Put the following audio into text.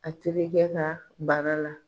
A terikɛ ka bana la.